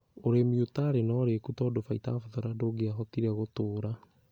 Ũrĩmi ũtarĩ na ũrikũru tondũ Phytophthora ndũngĩahotire gũtũũra